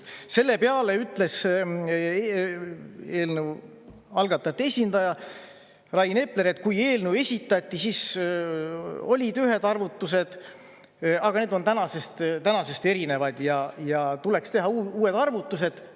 Selle peale ütles eelnõu algatajate esindaja Rain Epler, et kui eelnõu esitati, siis olid ühed arvutused, aga need on tänasest erinevad ja tuleks teha uued arvutused.